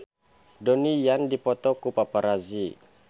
Donnie Yan dipoto ku paparazi